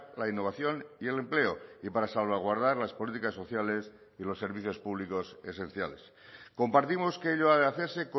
la innovación y el empleo y para salvaguardar las políticas sociales y los servicios públicos esenciales compartimos que ello ha de hacerse